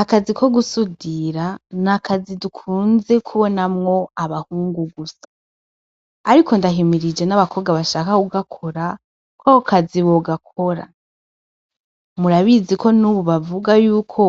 Akazi ko gusudira n'akazi dukunze kubonamwo abahungu gusa, ariko ndahimirije n'abakobwa bashaka kugakora kwako kazi bogakora, murabizi ko n'ubu bavuga yuko